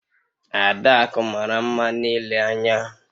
Adaku mara nma n'ile anya